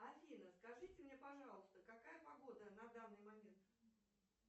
афина скажите мне пожалуйста какая погода на данный момент